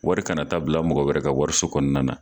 Wari kana taa bila mɔgɔ wɛrɛ ka wariso kɔnɔna na